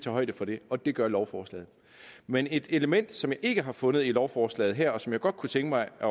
højde for det og det gør lovforslaget men et element som jeg ikke har fundet i lovforslaget her og som jeg godt kunne tænke mig at